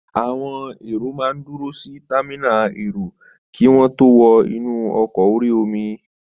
Àwọn èrò máa n dúró si támínà èrò kí wọ́n tó wọ inú ọkọ̀ orí-omi